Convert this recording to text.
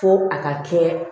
Fo a ka kɛ